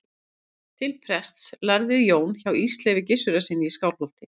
til prests lærði jón hjá ísleifi gissurarsyni í skálholti